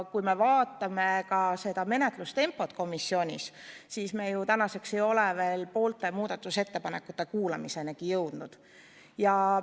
Kui vaatame komisjoni menetlustempot, siis näeme, et me pole ju tänaseks veel poolte muudatusettepanekute kuulamisenigi jõudnud.